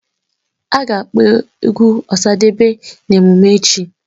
A ga-akpọ egwu Osadebe na emume echi